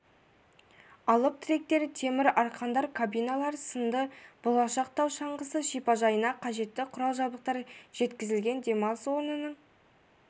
алып тіректер темір арқандар кабиналар сынды болашақ тау шаңғысы шипажайына қежетті құрал-жабдықтар жеткізілген демалыс орнының